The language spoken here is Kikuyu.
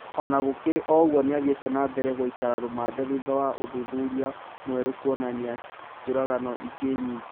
Ona gũkĩrĩ ũgwo nĩathire nambere gũikara rũmande thutha wa ũthuthuria mwerũ kũonania njũragano ingĩ nyingĩ